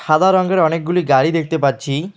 সাদা রঙ্গের অনেকগুলি গাড়ি দেখতে পাচ্ছি।